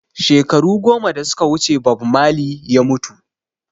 Shekaru goma da suka wuce Bob Marley ya mutu